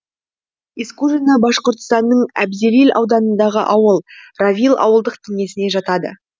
искужино башқұртстанның әбзелил ауданындағы ауыл равил ауылдық кеңесіне жатады